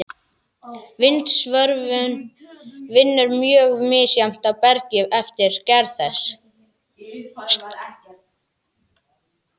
Vindsvörfun vinnur mjög misjafnt á bergi eftir gerð þess.